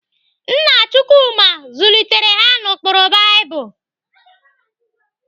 Nna Chukwuma zụlitere ha n'ụkpụrụ Baịbụl.